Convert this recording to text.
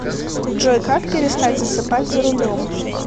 джой как перестать засыпать за рулем